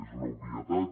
és una obvietat